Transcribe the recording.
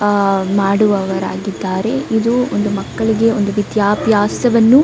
ಆ ಮಾಡುವವರಾಗಿದ್ದಾರೆ ಇದು ಒಂದು ಮಕ್ಕಳಿಗೆ ವಿದ್ಯಾಭ್ಯಾಸವನ್ನು --